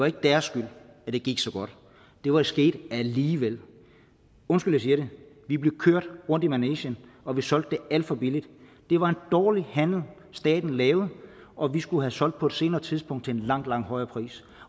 ikke deres skyld at det gik så godt det var sket alligevel undskyld jeg siger det vi blev kørt rundt i manegen og vi solgte det alt for billigt det var en dårlig handel staten lavede og vi skulle have solgt på et senere tidspunkt til en langt langt højere pris